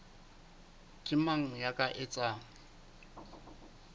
ke mang ya ka etsang